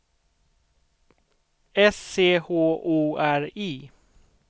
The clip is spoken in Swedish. S C H O R I